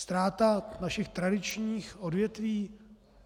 Ztráta našich tradičních odvětví?